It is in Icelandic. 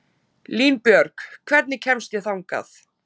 Línbjörg, hvernig kemst ég þangað?